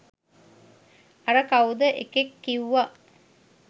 අර කවුද එකෙක් කිව්ව